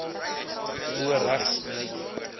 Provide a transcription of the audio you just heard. bo regs meidjie